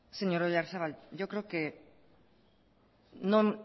señor oyarzabal yo creo que no